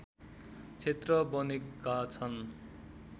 क्षेत्र बनेका छन्